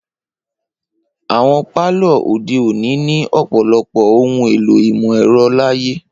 Awọn palọ ode oni ni ọ̀pọlọpọ ohun èlò imọ-ẹrọ laaye.